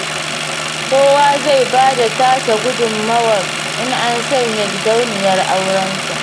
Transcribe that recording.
Kowa zai bayar da tasa gudummawar in an sanya gidauniyar aurensa